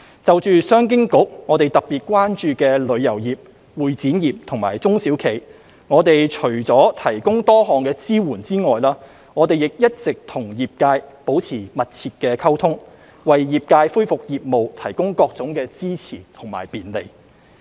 就商經局特別關注的旅遊業、會展業和中小企，我們除了提供多項支援外，亦一直與業界保持密切溝通，為業界恢復業務提供各種支持和便利。